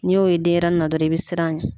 N'i y'o ye denɲɛrɛnin na dɔrɔn i bɛ siran a ɲɛ